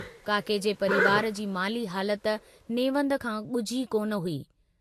काके जे परिवार जी माली हालत नेवंद खां गुझी कोन हुई।